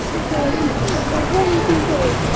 ও কখন